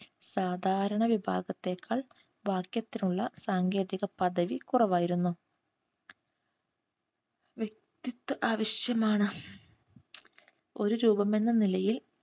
സാധാരണ വിഭാഗത്തേക്കാൾ വാക്യത്തിലുള്ള സാങ്കേതിക പദവി കുറവായിരുന്നു. വ്യക്തിത്വം ആവശ്യമാണ് ഒരു നിലയിൽ